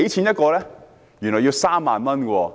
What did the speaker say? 原來要3萬元。